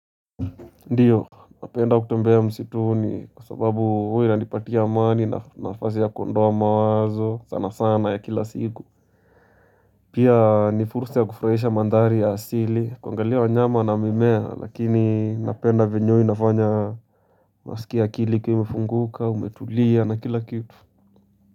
Ndiyo, napenda kutembea msituni kwa sababu huwa inanipatia amani na nafasi ya kuondoa mawazo sana sana ya kila siku Pia ni fursa ya kufurahisha mandhari ya asili kuangalia wanyama na mimea lakini napenda venye huwa inafanya naskia akili ikiwa imefunguka umetulia na kila kitu.